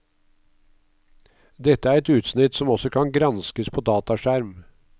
Dette er et utsnitt som også kan granskes på dataskjerm.